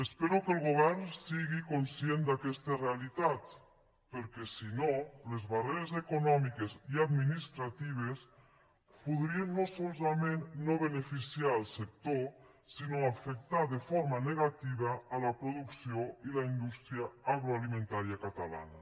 espero que el govern sigui conscient d’aquesta realitat perquè si no les barreres econòmiques i administratives podrien no solament no beneficiar el sector sinó afectar de forma negativa la producció i la indústria agroalimentària catalana